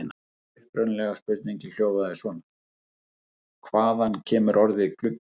Upprunalega spurningin hljóðaði svona: Hvaðan kemur orðið gluggi?